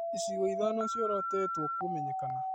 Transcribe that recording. Icigo ĩthano ciorotĩtwo kũmenyekana